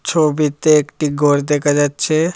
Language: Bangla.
ছবিতে একটি গর দেখা যাচ্ছে।